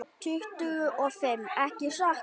Tuttugu og fimm, ekki satt?